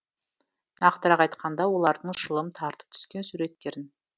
нақтырақ айтқанда олардың шылым тартып түскен суреттерін